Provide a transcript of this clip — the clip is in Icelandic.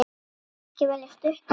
Ekki velja stutt orð.